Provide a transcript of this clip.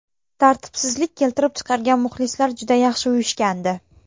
Tartibsizlik keltirib chiqargan muxlislar juda yaxshi uyushgandi.